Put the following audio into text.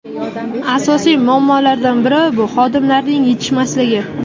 Asosiy muammolardan biri bu xodimlar yetishmasligi.